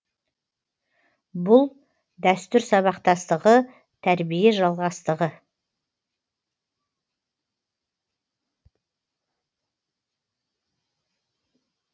бұл дәстүр сабақтастығы тәрбие жалғастығы